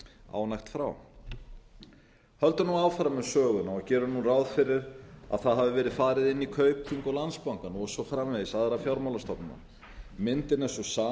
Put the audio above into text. ánægt frá höldum nú áfram með söguna og gerum nú ráð fyrir að það hafi verið farið inn í kaupþing og landsbankann og svo framvegis og aðrar fjármálastofnanir myndin